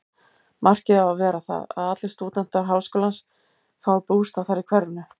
Markið á að vera það, að allir stúdentar háskólans fái bústað þar í hverfinu.